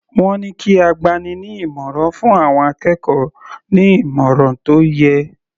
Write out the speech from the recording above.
Wọ́n ní kí agbani-ní-ìmọ̀ràn fún àwọn akẹ́kọ̀ọ́ ní ìmọ̀ràn tó yẹ.